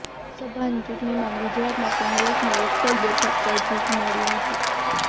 લોકસભાની ચૂંટણીમાં ગુજરાતમાં કોંગ્રેસને એક પણ બેઠક પર જીત મળી નથી